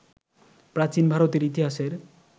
প্রাচীন ভারতের ইতিহাসের